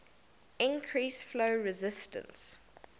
increase flow resistance